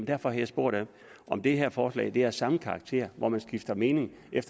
derfor har jeg spurgt om det her forslag er af samme karakter hvor man skifter mening